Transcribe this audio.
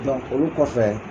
olu kɔfɛ